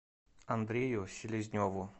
андрею селезневу